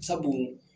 Sabu